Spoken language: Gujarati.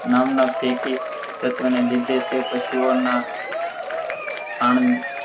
નામના ફેકી તત્વ ના લિધે તે પાસુઓ ના ખાણ